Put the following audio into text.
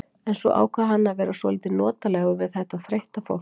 En svo ákvað hann að vera svolítið notalegur við þetta þreytta fólk.